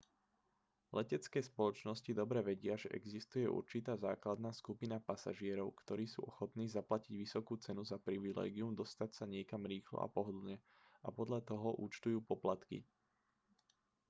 letecké spoločnosti dobre vedia že existuje určitá základná skupina pasažierov ktorí sú ochotní zaplatiť vysokú cenu za privilégium dostať sa niekam rýchlo a pohodlne a podľa toho účtujú poplatky